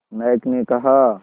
नायक ने कहा